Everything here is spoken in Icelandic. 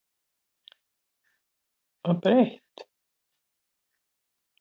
Helga gekk til móts við þau.